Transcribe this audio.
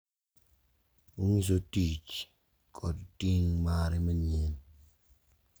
Onyiso tich kod ting’ mare manyien.